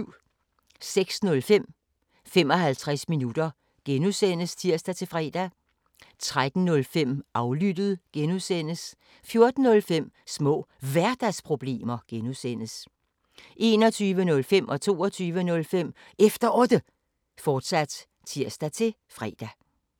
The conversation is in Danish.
06:05: 55 minutter (G) (tir-fre) 13:05: Aflyttet (G) 14:05: Små Hverdagsproblemer (G) 21:05: Efter Otte, fortsat (tir-fre) 22:05: Efter Otte, fortsat (tir-fre)